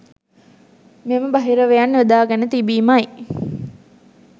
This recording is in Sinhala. මෙම බහිරවයන් යොදා ගෙන තිබීමයි